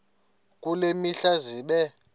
kule mihla zibe